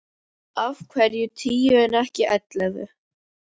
Af hverju tíu en ekki ellefu?